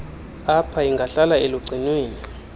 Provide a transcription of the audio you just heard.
ap ingahlala elugcinweni